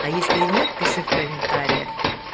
а если нет пиши в комментариях